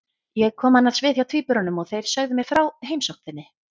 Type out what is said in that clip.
Ég kom annars við hjá tvíburunum og þeir sögðu mér frá heimsókn þinni.